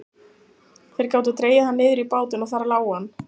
Þeir gátu dregið hann niður í bátinn og þar lá hann.